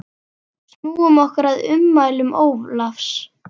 Snúum okkur að ummælum Ólafs.